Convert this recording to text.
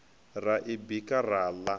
ra i bika ra ḽa